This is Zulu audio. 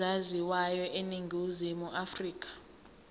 ezaziwayo eningizimu afrika